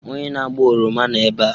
Onye na-agba oroma nọ ebe a.